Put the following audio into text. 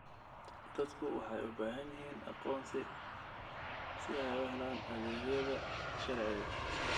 Dadku waxay u baahan yihiin aqoonsi si ay u helaan adeegyada sharciga.